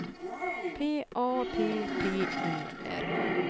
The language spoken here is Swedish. P A P P E R